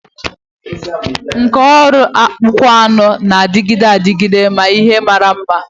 Nkà ọrụ akpụkpọ anụ na-adịgide adịgide na ihe mara mma.